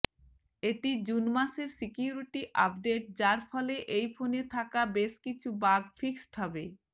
এটি জুন মাসের security update যার ফলে এই ফোনে থাকা বেশ কিছু বাগ ফিক্সড হবে